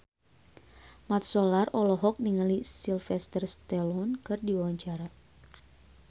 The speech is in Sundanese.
Mat Solar olohok ningali Sylvester Stallone keur diwawancara